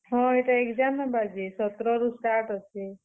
ହଁ, ଇଟା exam ହେବା ଯେ ସତର ରୁ start ଅଛେ।